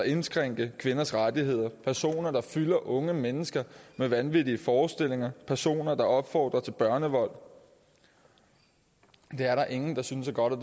indskrænke kvinders rettigheder personer der fylder unge mennesker med vanvittige forestillinger personer der opfordrer til børnevold det er der ingen der synes er godt og